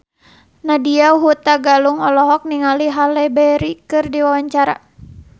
Nadya Hutagalung olohok ningali Halle Berry keur diwawancara